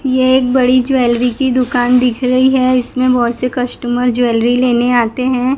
ये एक बड़ी ज्वेलरी की दुकान दिख रही है इसमें बहोत से कस्टमर ज्वेलरी लेने आते हैं।